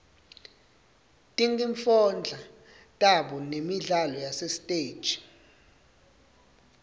tinkifondla tabo nemidlalo yasesitej